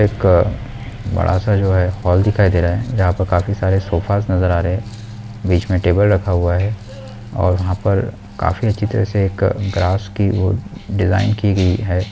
एक बड़ा-सा जो है हॉल दिखाई दे रहा है यहां पे काफी सारे सोफाज नजर आ रहे है बीच मे टेबल रखा हुआ है और यहाँ पर काफी अच्छे तरह से एक ग्रास की वो डिजाइन की गयी है।